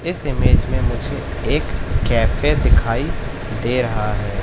इस इमेज में मुझे एक कैफे दिखाई दे रहा है।